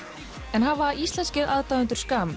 en hafa íslenskir aðdáendur